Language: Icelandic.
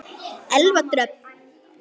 Elfa Dröfn.